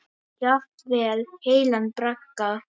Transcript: Jafnvel heilan bragga.